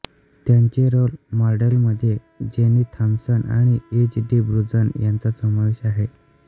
त्यांचे रोल मॉडेलमध्ये Jenny Thompson आणि इंज डी ब्रुझन यांचा समावेश आहे